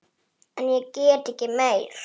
En ég gat ekki meir.